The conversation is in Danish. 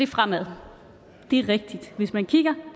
fremad det er rigtigt hvis man kigger